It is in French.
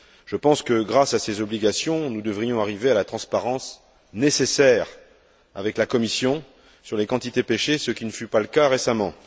Je pense que, grâce à ces obligations, nous devrions arriver à la transparence nécessaire avec la Commission sur les quantités pêchées, ce qui ne fut pas le cas récemment.